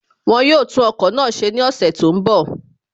Wọ́n yóò tún ọkọ̀ náà ṣe ní ọ̀sẹ̀ tó ń bọ̀